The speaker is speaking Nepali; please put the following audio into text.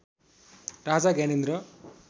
राजा ज्ञानेन्द्र